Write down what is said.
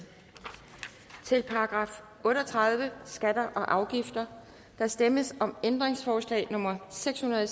til § otte og tredive skatter og afgifter der stemmes om ændringsforslag nummer seks hundrede og